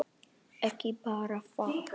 Ekki bara það.